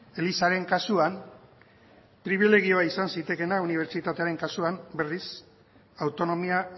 elizaren kasuan pribilegioa izan zitekeena unibertsitatearen kasuan berriz autonomia